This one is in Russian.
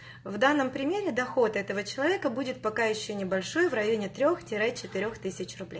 в данном примере доход этого человека будет пока ещё небольшой в районе трёх тире четырёх тысяч рублей